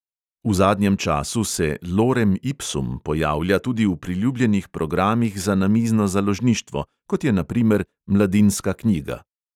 V zadnjem času se lorem ipsum pojavlja tudi v priljubljenih programih za namizno založništvo, kot je na primer mladinska knjiga.